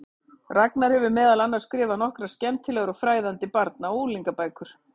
Ragnar hefur meðal annars skrifað nokkrar skemmtilegar og fræðandi barna- og unglingabækur.